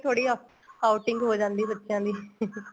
ਥੋੜੀ outing ਹੋ ਜਾਂਦੀ ਏ ਬੱਚਿਆਂ ਦੀ